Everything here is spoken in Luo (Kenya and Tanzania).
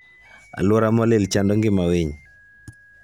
Aluora molil chando ngima winy